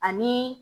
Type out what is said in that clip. Ani